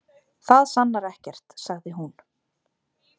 Það sannar ekkert, sagði hún.